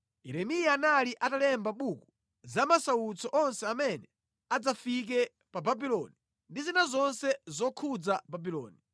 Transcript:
Yeremiya anali atalemba mʼbuku za masautso onse amene adzafike pa Babuloni ndi zina zonse zokhudza Babuloni.